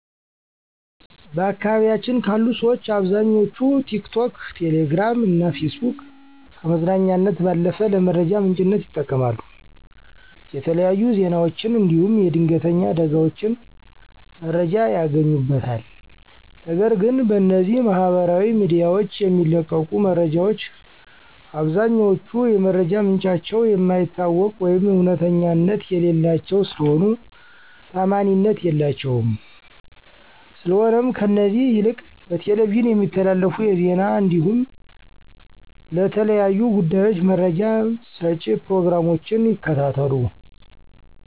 በአካባቢያችን ካሉ ሠዎች አብዛኛዎቹ ቲክቶክ፣ ቴሌግራም እና ፌስቡክን ከመዝናኛነት ባለፉ ለመረጃ ምንጭነት ይጠቀማሉ። የተለያዩ ዜናዎችን እንዲሁም የድንተኛ አደጋዎችን መረጃ ያገኙበታል፤ ነገር ግን በእነዚህ ማህበራዊ ሚዲያዎች የሚለቀቁ መረጃዎች አብዛኛዎቹ የመረጃ ምንጫቸው የማይታወቅ ወይም እውነተኛነት የሌላቸው ስለሆኑ ታዓማኒነት የላቸውም፤ ስለሆነም ከእነዚህ ይልቅ በቴሌቪዥን የሚተላለፉ የዜና እንዲሁም ለተለያዩ ጉዳዮች መረጃ መጪ ፕሮግራሞችን ይከታተላሉ።